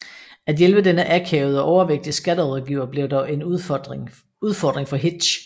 At hjælpe denne akavede og overvægtige skatterådgiver bliver dog en udfordring for Hitch